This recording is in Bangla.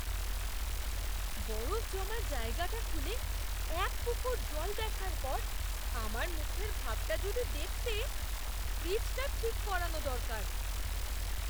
বরফ জমার জায়গাটা খুলে এক পুকুর জল দেখার পর আমার মুখের ভাবটা যদি দেখতে! ফ্রিজটা ঠিক করানো দরকার।